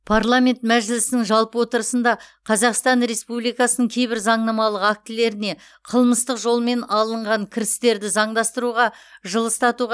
парламент мәжілісінің жалпы отырысында қазақстан республикасының кейбір заңнамалық актілеріне қылмыстық жолмен алынған кірістерді заңдастыруға жылыстатуға